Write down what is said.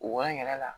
Wa n yɛrɛ la